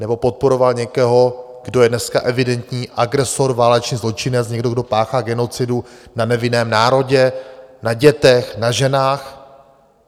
Nebo podporoval někoho, kdo je dneska evidentní agresor, válečný zločinec, někdo, kdo páchá genocidu na nevinném národě, na dětech, na ženách?